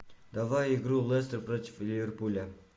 давай игру лестер против ливерпуля